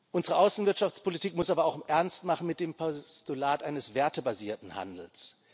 Unsere Außenwirtschaftspolitik muss aber auch Ernst machen mit dem Postulat eines wertebasierten Handels.